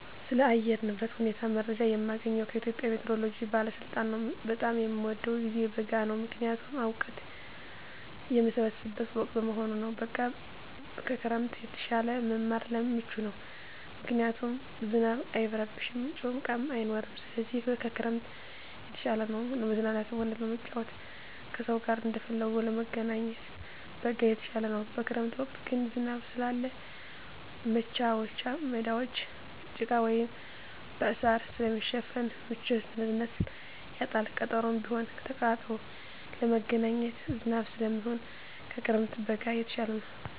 ስለ አየር ንብረት ሁኔታ መረጃ የማገኘዉ ከኢትዮጵያ ሜትሮሎጂ ባለስልጣን ነዉ። በጣም የምወደዉ ጊዜ በጋ ነዉ ምክንያቱም እወቀት የምሰበስብበት ወቅት በመሆኑ ነዉ። በጋ ከክረምት የተሻለ ለመማር ምቹ ነዉ ምክንያቱም ዝናብ አይረብሽም ጭቃም አይኖርም ስለዚህ ከክረምት የተሻለ ነዉ። ለመዝናናትም ሆነ ለመጫወት ከሰዉ ጋር እንደፈለጉ ለመገናኘት በጋ የተሻለ ነዉ። በክረምት ወቅት ግን ዝናብ ስላለ መቻወቻ ሜዳወች በጭቃ ወይም በእሳር ስለሚሸፈን ምቹነቱን ያጣል ቀጠሮም ቢሆን ተቀጣጥሮ ለመገናኘት ዝናብ ስለሚሆን ከክረምት በጋ የተሻለ ነዉ።